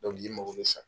i mago bɛ san